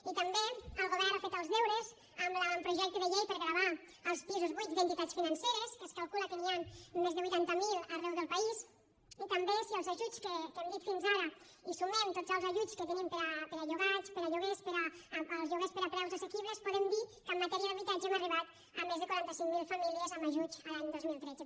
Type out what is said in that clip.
i també el govern ha fet els deures amb l’avantprojecte de llei per a gravar els pisos buits d’entitats financeres que es calcula que n’hi han més de vuitanta mil arreu del país i també si als ajuts que hem dit fins ara hi sumem tots els ajuts que tenim per a llogats per a lloguers per als lloguers a preus assequibles podem dir que en matèria d’habitatge hem arribat a més de quaranta cinc mil famílies amb ajuts l’any dos mil tretze